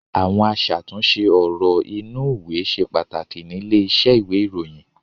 Àwọn aṣàtúnṣe ọ̀rọ̀ inúùwé ṣe pàtàkì nílé iṣẹ́ ìwé-ìròyìn.